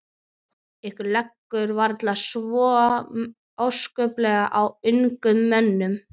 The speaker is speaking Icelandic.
Ykkur liggur varla svo óskaplega á, ungum mönnunum.